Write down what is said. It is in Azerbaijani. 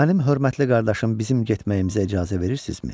Mənim hörmətli qardaşım bizim getməyimizə icazə verirsizmi?